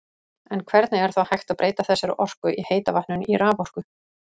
En hvernig er þá hægt að breyta þessari orku í heita vatninu í raforku?